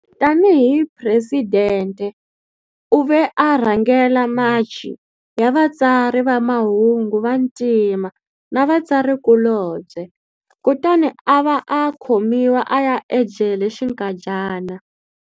Tani hi presidente u ve a rhangela machi ya vatsari va mahungu va vantima na vatsarikulobye, kutani a va a khomiwa a ya jele xinkadyana.